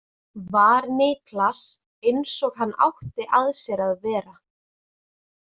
Var Niklas eins og hann átti að sér að vera?